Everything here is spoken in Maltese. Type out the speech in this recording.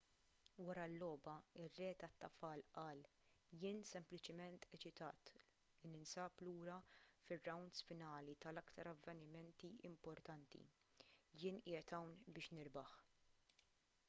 wara l-logħba ir-re tat-tafal qal jien sempliċiment eċitat li ninsab lura fir-rawnds finali tal-aktar avvenimenti importanti jien qiegħed hawn biex nirbaħ